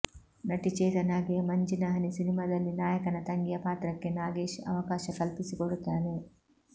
ನಟಿ ಚೇತನಾಗೆ ಮಂಜಿನಹನಿ ಸಿನಿಮಾದಲ್ಲಿ ನಾಯಕನ ತಂಗಿಯ ಪಾತ್ರಕ್ಕೆ ನಾಗೇಶ್ ಅವಕಾಶ ಕಲ್ಪಿಸಿಕೊಡುತ್ತಾರೆ